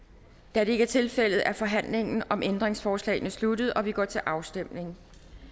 da det ikke er tilfældet er forhandlingen om ændringsforslagene sluttet og vi går til afstemning